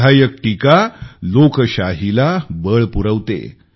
विधायक टीका लोकशाहीला बळ पुरवते